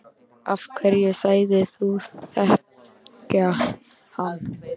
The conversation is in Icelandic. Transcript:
Af hverju sagðist þú þekkja hann?